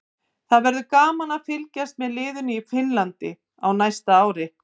Það verður gaman að fylgjast með liðinu í Finnlandi á næsta ári.